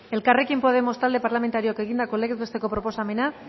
elkarrekin podemos talde parlamentarioak egindako legez besteko proposamena